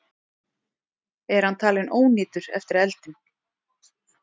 Er hann talinn ónýtur eftir eldinn